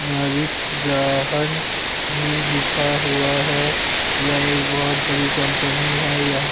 نارس جاہن بھی لکھا ہوا ہے۔ یہ ایک بھوت بڑی کمپنی ہے۔ یہ--